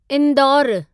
इंदौरु